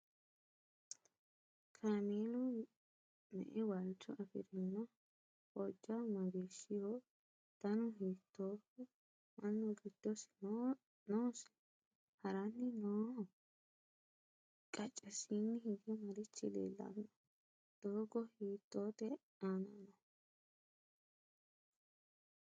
Kaameelu me'e waalicho afirinno? Hojja mageeshshiho? Dannu hiittoho? Mannu giddo noosi? Haranni nooho? Qacesiinni hige marichi leelanni noo? doogo hiittotte aanna nooho?